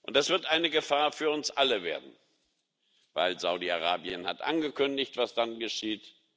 Das wird eine Gefahr für uns alle werden, weil Saudi Arabien angekündigt hat, was dann geschieht